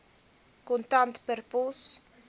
kontant per pos